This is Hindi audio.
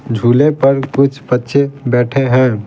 झूले पर कुछ बच्चे बैठे हैं।